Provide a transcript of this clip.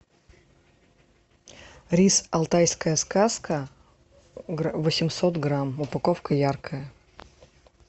рис алтайская сказка восемьсот грамм упаковка яркая